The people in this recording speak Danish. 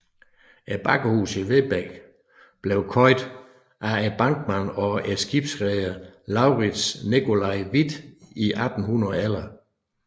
Bakkehuset i Vedbæk blev købt af bankmand og skibsreder LauritzNicolai Hvidt i 1811